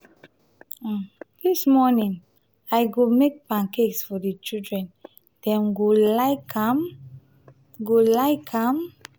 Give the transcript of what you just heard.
um dis morning i go make pancakes for di children; dem go like am. go like am.